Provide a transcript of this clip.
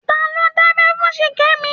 Ta ló dábẹ́ fún Ṣìkẹ́mi?